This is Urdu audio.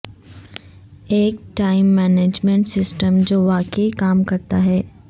ایک ٹائم مینجمنٹ سسٹم جو واقعی کام کرتا ہے